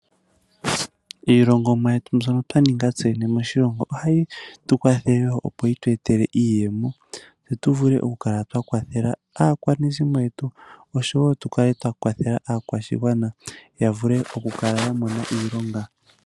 Iilongomwa yetu mbyono twa nunga ts3 yene moshilongo ohayi tu kwathele opo yi tu etele iiyemo tse tu vule oku kala twa kwathela aakwashigwana oshowo tu kale twa kwathela aakwashigwana ya vule oku kala ya mona iilonga.